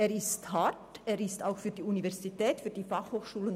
Er ist hart, auch für die Universität und die BFH.